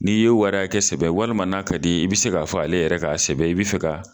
N'i ye o wara kɛ sɛbɛn walima n'a ka di i bɛ se k'a fɔ ale yɛrɛ k'a sɛbɛn i bɛ fɛ ka